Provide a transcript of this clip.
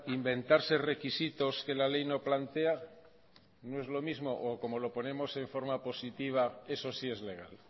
inventarse requisitos que la ley no plantea no es lo mismo o como lo ponemos en forma positiva eso sí es legal